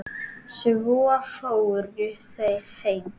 Svo fóru þeir heim.